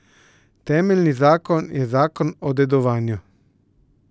Temeljni zakon je zakon o dedovanju.